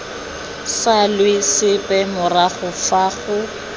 salwe sepe morago fa go